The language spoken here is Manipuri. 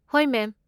ꯍꯣꯏ, ꯃꯦꯝ꯫